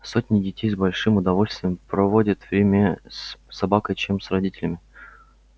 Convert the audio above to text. сотни детей с большим удовольствием проводят время с собакой чем с родителями